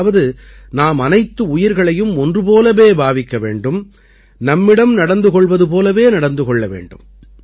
அதாவது நாம் அனைத்து உயிர்களையும் ஒன்று போலவே பாவிக்க வேண்டும் நம்மிடம் நடந்து கொள்வது போலவே நடந்து கொள்ள வேண்டும்